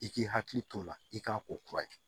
I k'i hakili t'o la i k'a ko kura ye